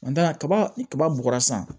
kaba ni kaba bɔgɔ san